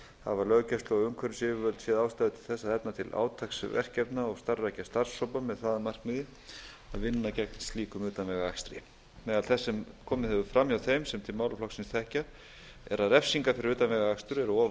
hafa löggæslu og umhverfisyfirvöld séð ástæðu til þess að efna til átaksverkefna og starfrækja starfshópa með það að markmiði að vinna gegn slíkum utanvegaakstri meðal þess sem komið hefur fram hjá þeim sem til málaflokksins þekkja er að refsingar fyrir utanvegaakstur eru of